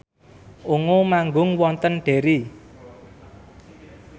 Ungu manggung wonten Derry